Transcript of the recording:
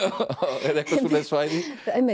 eða eitthvað svoleiðis svæði